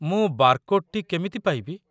ମୁଁ ବାରକୋଡ୍‌ଟି କେମିତି ପାଇବି ?